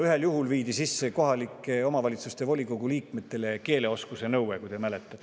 Ühel juhul viidi sisse kohaliku omavalitsuse volikogu liikmetele keelenõue, võib-olla mäletate.